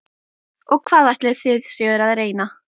Og hvað ætlið þið séuð að reyna?